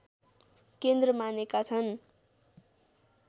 केन्द्र मानेका छन्